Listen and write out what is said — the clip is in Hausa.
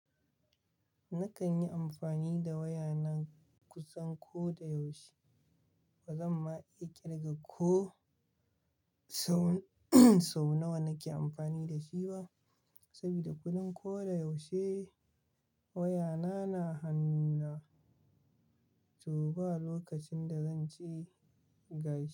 Nakan yi amfani da wayana kusan ko da yaushe. Ba zan ma iya kirga ko sau nawa nake amfani da shi ba, saboda kullum ko da yaushe wayana na hannuna. To ba lokacin da zan ce gashi.